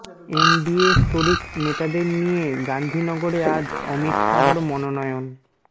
NDA শরিক নেতাদের নিয়ে গান্ধীনগরে আজ অমিত শাহর মনোনয়ন